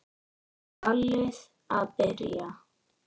Ballið að byrja.